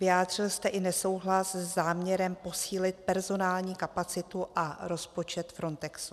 Vyjádřil jste i nesouhlas se záměrem posílit personální kapacitu a rozpočet Frontexu.